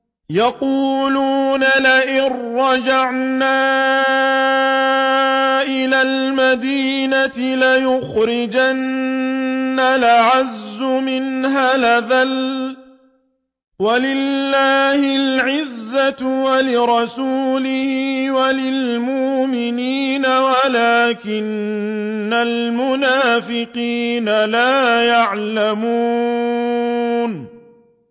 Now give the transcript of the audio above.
يَقُولُونَ لَئِن رَّجَعْنَا إِلَى الْمَدِينَةِ لَيُخْرِجَنَّ الْأَعَزُّ مِنْهَا الْأَذَلَّ ۚ وَلِلَّهِ الْعِزَّةُ وَلِرَسُولِهِ وَلِلْمُؤْمِنِينَ وَلَٰكِنَّ الْمُنَافِقِينَ لَا يَعْلَمُونَ